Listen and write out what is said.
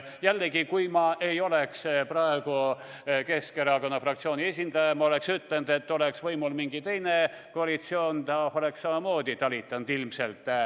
Jällegi, kui ma ei oleks praegu Keskerakonna fraktsiooni esindaja, oleksin ma ütelnud, et oleks võimul olnud mingi teine koalitsioon, oleks ilmselt samamoodi talitatud.